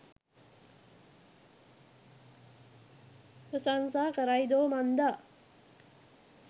ප්‍රශංසා කරයිදෝ මන්දා.